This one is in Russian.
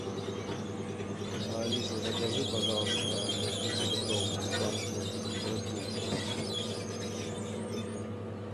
алиса закажи пожалуйста ноль пятилитровую банку ред булл